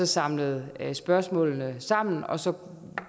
samlede spørgsmålene sammen og så